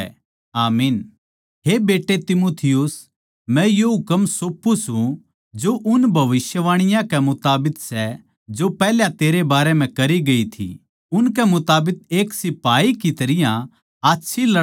हे बेट्टे तीमुथियुस मै यो हुकम सौंपू सूं जो उन भविष्यवाणीयाँ कै मुताबिक सै जो पैहल्या तेरै बारै म्ह करी गई थी उनकै मुताबिक एक सिपाही की तरियां आच्छी लड़ाई नै लड़दे रह